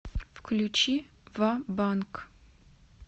включи ва банкъ